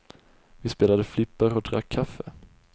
Vi spelade flipper och drack kaffe.